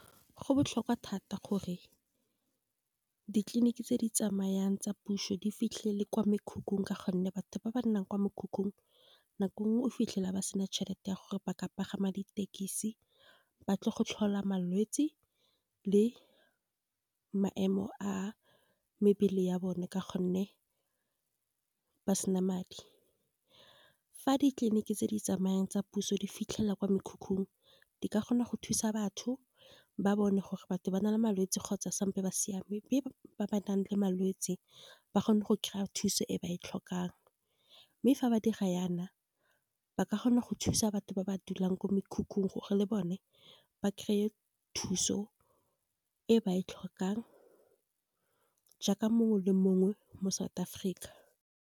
Go botlhokwa thata gore ditleliniki tse di tsamayang tsa puso, di fitlhe le kwa mekhukhung. Ka gonne batho ba ba nnang kwa mekhukhung, nako nngwe o fitlhela ba sena tšhelete ya gore ba ka pagama ditekisi, ba tlo go tlhola malwetse le maemo a mebele ya bone, ka gonne ba sena madi. Fa ditleliniki tse di tsamayang tsa puso di fitlhelwa kwa mekhukhung, di ka gona go thusa batho ba bone. Gore batho ba na le malwetsi kgotsa sampo ba siame ba ba nang le malwetsi ba kgone go kry-a thuso e ba e tlhokang. Mme fa ba dira yana ba ka kgona go thusa batho ba ba dulang ko mekhukhung, gore le bone ba kry-e thuso e ba e tlhokang, jaaka mongwe le mongwe mo South Africa.